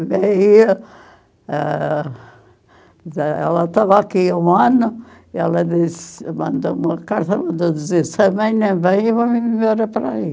ah... Ela estava aqui um ano, ela disse, mandou uma carta, mandou dizer, se a mãe não vem, eu vou me mudar para aí.